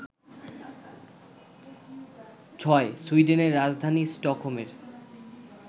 ৬. সুইডেনের রাজধানী স্টকহোমের